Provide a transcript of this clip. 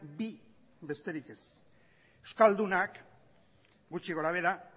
bi besterik ez euskaldunak gutxi gorabehera